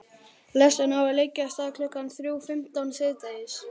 Lestin á að leggja af stað klukkan þrjú fimmtán síðdegis.